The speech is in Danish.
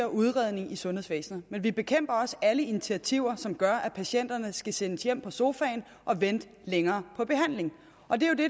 udredning i sundhedsvæsenet men vi bekæmper også alle initiativer som gør at patienterne skal sendes hjem på sofaen og vente længere på behandling og det